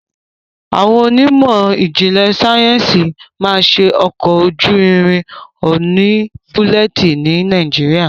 Awọn Onímò ijinle Sáyẹnsì ma ṣe ọkọ ojú ìrìn òní bulleti ní nàìjíría.